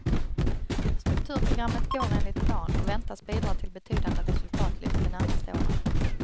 Strukturprogrammet går enligt plan och väntas bidra till betydande resultatlyft de närmaste åren.